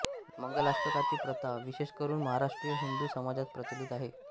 मंगलाष्टकाची प्रथा विशेषकरून महाराष्ट्रीय हिंदू समाजात प्रचलित आहे